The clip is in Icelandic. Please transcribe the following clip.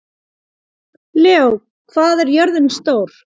Leó, hvað er jörðin stór?